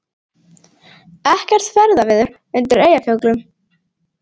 Ekkert ferðaveður undir Eyjafjöllum